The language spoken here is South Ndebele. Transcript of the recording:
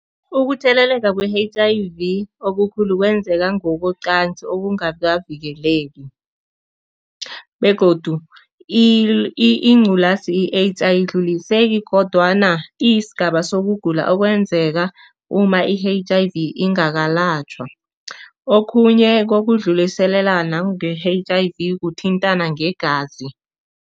Ukutheleleka kwe-H_I_V okukhulu kwenzeka ngokocansi obungakavikeleki begodu ingculazi i-AIDS ayidluliseki kodwana iyisigaba sokugula okwenzeka uma i-H_I_V ingakalatjhwa. Okhunye kokudluliselana nge-H_I_V kuthintana ngegazi.